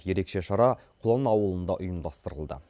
ерекше шара құлан ауылында ұйымдастырылды